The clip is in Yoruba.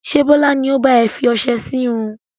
Ṣé Bọlá ni ó ba ẹ fi ọsẹ sì irun?